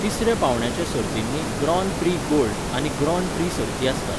तिसऱ्या पावंड्याच्या सर्तींनी ग्रॉन प्री गोल्ड आनी ग्रॉन प्री सर्ती आसतात.